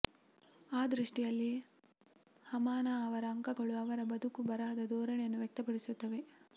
ಆ ದೃಷ್ಟಿಯಲ್ಲಿ ಹಾಮಾನಾ ಅವರ ಅಂಕಣಗಳು ಅವರ ಬದುಕು ಬರಹದ ಧೋರಣೆಯನ್ನು ವ್ಯಕ್ತಪಡಿಸುತ್ತವೆ